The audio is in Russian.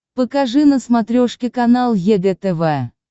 покажи на смотрешке канал егэ тв